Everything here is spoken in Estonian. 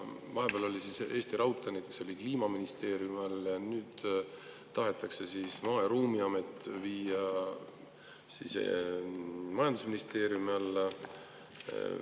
Näiteks Eesti Raudtee oli vahepeal Kliimaministeeriumi all, nüüd tahetakse Maa- ja Ruumiamet viia majandusministeeriumi alla.